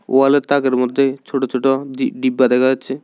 ওয়ালের তাকের মদ্যে ছোট ছোট ডি-ডিব্বা দেখা যাচ্ছে।